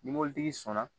Ni mobilitigi sɔnna